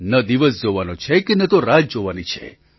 ન દિવસ જોવાનો છે કે ન તો રાત જોવાની છે